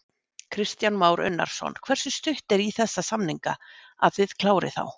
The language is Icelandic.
Kristján Már Unnarsson: Hversu stutt er í þessa samninga, að þið klárið þá?